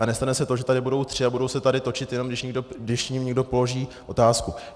A nestane se to, že tady budou tři a budou se tady točit, jen když jim někdo položí otázku.